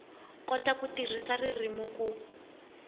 kota ku tirhisa ririmi ku